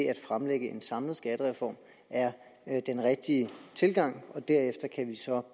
at fremlægge en samlet skattereform er er den rigtige tilgang at have derefter kan vi så